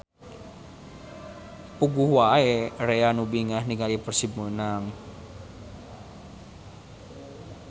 Puguh wae rea nu bingah ninggali Persib menang